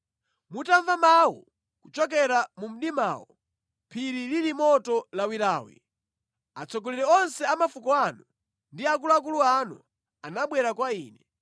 Mutamva mawu kuchokera mu mdimawo, phiri lili moto lawilawi, atsogoleri onse a mafuko anu ndi akuluakulu anu anabwera kwa ine.